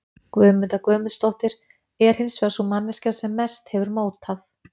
Guðmunda Guðmundsdóttir, er hins vegar sú manneskja sem mest hefur mótað